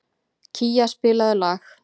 Kía, spilaðu lag.